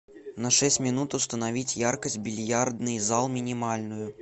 на шесть минут установить яркость бильярдный зал минимальную